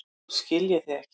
Nú skil ég þig ekki.